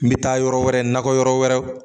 N bɛ taa yɔrɔ wɛrɛ nakɔ yɔrɔ wɛrɛ